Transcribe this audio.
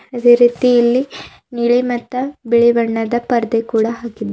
ಅದೆ ರೀತಿ ಇಲ್ಲಿ ನೀಲಿ ಮತ್ತ ಬಿಳಿ ಬಣ್ಣದ ಪರ್ದೆ ಕೂಡ ಹಾಕಿದ್--